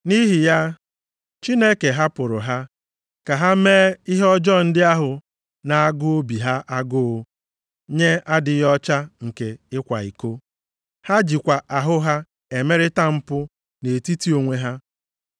Nʼihi ya, Chineke hapụrụ ha ka ha mee ihe ọjọọ ndị ahụ na-agụ obi ha agụụ nye adịghị ọcha nke ịkwa iko, ha jikwa ahụ ha emerịta mpu nʼetiti onwe ha.